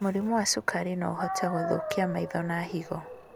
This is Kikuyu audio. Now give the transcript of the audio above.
Mũrimũ wa cukari noũhote gũthũkia maĩ tho na higo